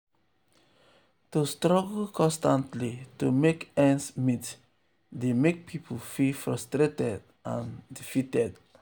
to struggle constantly to make ends meet dey um mek pipul feel frustrated and defeated.